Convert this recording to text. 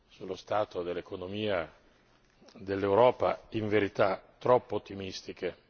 sullo stato dell'economia dell'Europa in verità troppo ottimistiche.